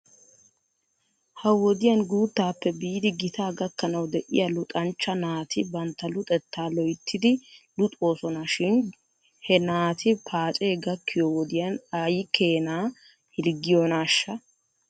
Ha wodiyan guuttaappe biidi gitaa gakkanaw de'iyaa luxanchcha naati bantta luxettaa loyttidi luxoosona shin he naati paacee gakkiyoo wodiyan aykeenaa hirggiyoonaashsha?